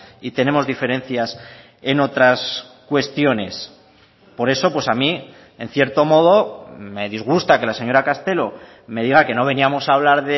y tenemos diferencias en otras cuestiones por eso pues a mí en cierto modo me disgusta que la señora castelo me diga que no veníamos a hablar